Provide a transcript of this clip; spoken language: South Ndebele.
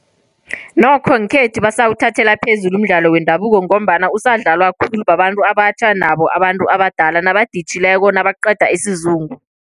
Nokho ngekhethu basawuthathela phezulu umdlalo wendabuko, ngombana usadlalwa khulu babantu abatjha nabo abantu abadala, nabaditjhileko nabaqeda isizungu.